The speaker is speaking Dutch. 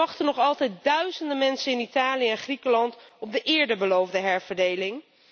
Er wachten nog altijd duizenden mensen in Italië en Griekenland op de eerder beloofde herverdeling.